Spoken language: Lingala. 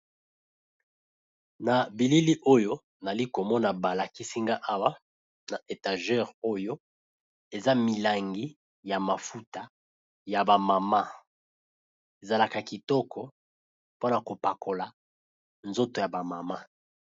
Na bilili oyo nali komona balakisinga awa na etagere oyo eza milangi ya mafuta ya ba mama ezalaka kitoko pona kopakola na nzoto ya ba mama.